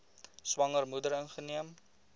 swanger moeder ingeneem